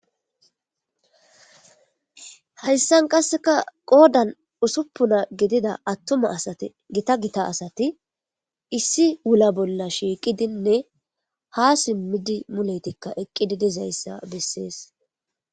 Hayssan qasseka qoodan ussupuna gidida attuma asati gita gita asati issi wula bolla shiiqidinne ha simmidi muleytikka eqqidi dizayssa bessees.